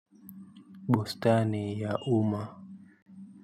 Bustani ya umma.